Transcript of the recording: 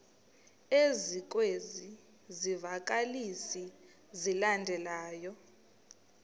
ezikwezi zivakalisi zilandelayo